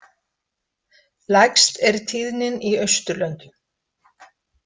Lægst er tíðnin í Austurlöndum.